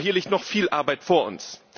Doch hier liegt noch viel Arbeit vor uns.